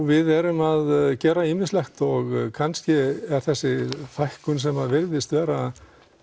við erum að gera ýmislegt og kannski er þessi fækkun sem virðist vera